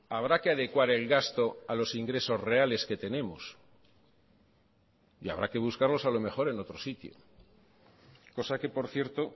habrá que adecuar el gasto a los ingresos reales que tenemos y habrá que buscarlos a lo mejor en otro sitio cosa que por cierto